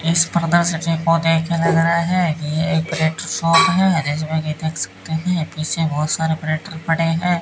इस स्पर्धा सचिव को देखकर लग रहा है कि यह एक प्लेटफार्म है इसमें भी देख सकते हैं पीछे बहुत सारे ब्रेकर पड़े हैं।